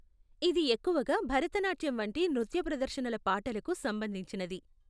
ఇది ఎక్కువగా భరతనాట్యం వంటి నృత్య ప్రదర్శనల పాటలకు సంబంధించినది.